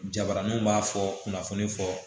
Jabaraninw b'a fɔ kunnafoni fɔ